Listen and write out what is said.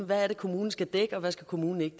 hvad kommunen skal dække og hvad kommunen ikke